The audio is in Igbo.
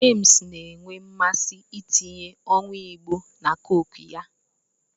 James na-enwe mmasị itinye owu Igbo na Coke ya